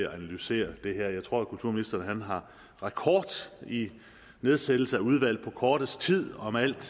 analysere det her jeg tror kulturministeren har rekord i nedsættelse af udvalg på kortest tid om alt